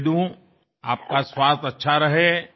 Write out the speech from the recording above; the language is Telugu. మీ ఆరోగ్యం బాగుండాలి